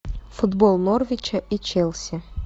футбол норвича и челси